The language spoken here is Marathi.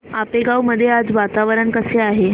आपेगाव मध्ये आज वातावरण कसे आहे